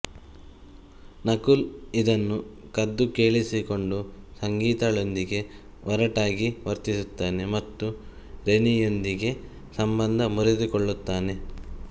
ನಕುಲ್ ಇದನ್ನು ಕದ್ದು ಕೇಳಿಸಿಕೊಂಡು ಸಂಗೀತಾಳೊಂದಿಗೆ ಒರಟಾಗಿ ವರ್ತಿಸುತ್ತಾನೆ ಮತ್ತು ರೆನಿಯೊಂದಿಗೆ ಸಂಬಂಧ ಮುರಿದುಕೊಳ್ಳುತ್ತಾನೆ